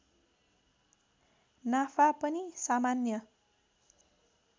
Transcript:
नाफा पनि सामान्य